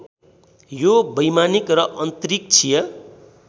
यो वैमानिक र अन्तरिक्षीय